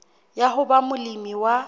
ya ho ba molemi wa